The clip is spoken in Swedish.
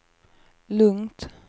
lugnt